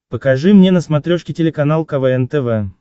покажи мне на смотрешке телеканал квн тв